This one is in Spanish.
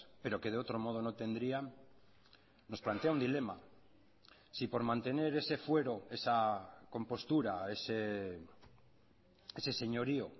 pero que de otro modo no tendrían nos plantea un dilema si por mantener ese fuero esa compostura ese señorío